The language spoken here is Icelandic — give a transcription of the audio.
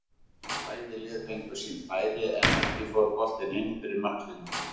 Bæði lið fengu sín færi en ekki fór boltinn inn fyrir marklínuna.